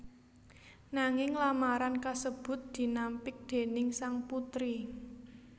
Nanging lamaran kasebut dinampik déning sang putri